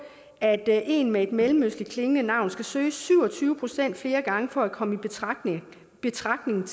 at en med et mellemøstligtklingende navn skal søge syv og tyve procent flere gange for at komme i betragtning betragtning